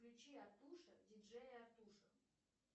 включи артуша диджея артуша